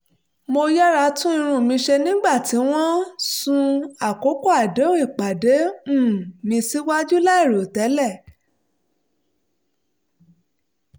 mo yára tún irun mi ṣe nígbà tí wọ́n sún àkókò àdéhùn ìpàdé um mi síwájú láì rò tẹ́lẹ̀